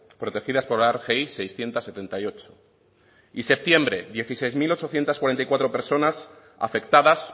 protegidas por la rgi seiscientos setenta y ocho y septiembre dieciséis mil ochocientos cuarenta y cuatro personas afectadas